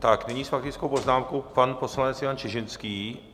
Tak nyní s faktickou poznámkou pan poslanec Jan Čižinský.